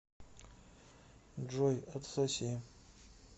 джой отсоси